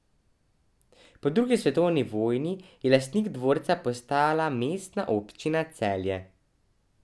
Po drugi svetovni vojni je lastnik dvorca postala Mestna občina Celje.